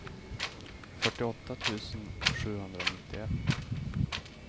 fyrtioåtta tusen sjuhundranittioett